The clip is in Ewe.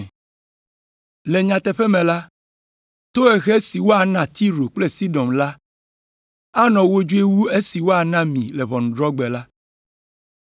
Le nyateƒe me la, tohehe si woana Tiro kple Sidon la anɔ wodzoe wu esi woana mi le ʋɔnudrɔ̃gbe la.